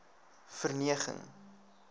verneging